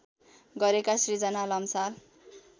गरेका श्रृजन लम्साल